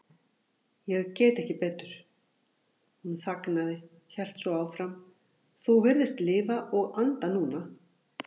Ég get ekki betur. hún þagnaði, hélt svo áfram, þú virðist lifa og anda núna.